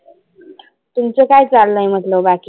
तुमच काय चाललय बाकी?